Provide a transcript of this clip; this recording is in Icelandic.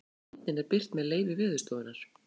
myndin er birt með leyfi veðurstofunnar